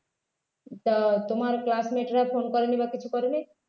তা তোমার classmate রা phone করেনি বা কিছু করেনি